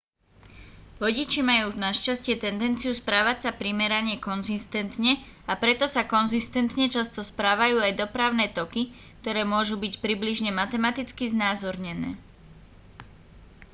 vodiči majú našťastie tendenciu správať sa primerane konzistentne a preto sa konzistentne často správajú aj dopravné toky ktoré môžu byť približne matematicky znázornené